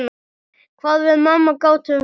Hvað við mamma gátum rifist.